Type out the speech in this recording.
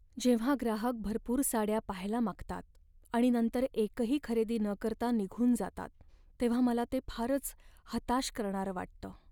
जेव्हा ग्राहक भरपूर साड्या पहायला मागतात आणि नंतर एकही खरेदी न करता निघून जातात तेव्हा मला ते फारच हताश करणारं वाटतं.